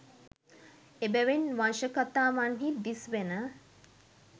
එබැවින් වංශකථාවන්හි දිස්වෙන